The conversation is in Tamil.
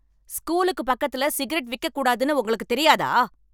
ஸ்கூலுக்கு பக்கத்துல சிகரெட் விக்கக்கூடாதுன்னு உங்களுக்கு தெரியாதா?